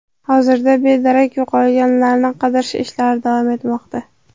Hozirda bedarak yo‘qolganlarni qidirish ishlari davom etmoqda.